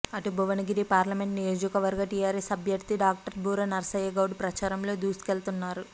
అటు భువనగిరి పార్లమెంట్ నియోజకవర్గ టీఆర్ఎస్ అభ్యర్థి డాక్టర్ బూర నర్సయ్యగౌడ్ ప్రచారంలో దూసుకెళ్తున్నారు